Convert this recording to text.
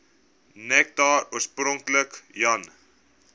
nektar oorspronklik jan